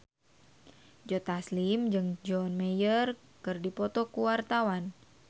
Joe Taslim jeung John Mayer keur dipoto ku wartawan